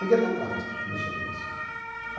Peguei até prática de mexer com isso tudo.